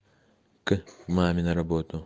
к маме на работу